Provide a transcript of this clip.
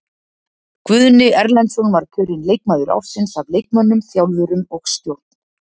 Guðni Erlendsson var kjörinn leikmaður ársins af leikmönnum, þjálfurum og stjórn.